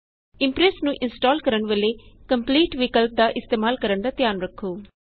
Impress ਨੂੰ install ਕਰਨ ਵੇਲੇ ਕੰਪਲੀਟ ਵਿਕਲਪ ਦਾ ਇਸਤੇਮਾਲ ਕਰਣ ਦਾ ਧਿਆਨ ਰੱਖੋ